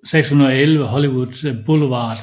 6611 Hollywood Blvd